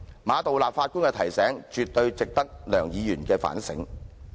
馬道立首席法官的提醒，絕對值得梁議員反省。